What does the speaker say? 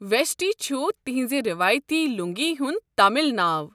ویشٹی چھُ تہنٛزِ روایتی لوٗنٛگی ہُنٛد تامِل ناو۔